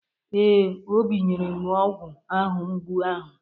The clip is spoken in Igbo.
Ee, Obi nyere m ọgwụ ahụ mgbu ahụ.